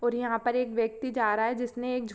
और यहाँ पर एक व्यक्ति जा रहा है जिसने एक झ--